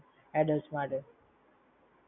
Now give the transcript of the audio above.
Adults માટે